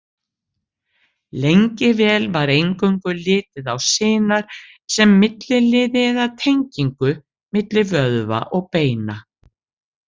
Lengi vel var eingöngu litið á sinar sem milliliði eða tengingu milli vöðva og beina.